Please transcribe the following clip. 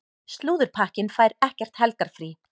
Slúðurpakkinn fær ekkert helgarfrí.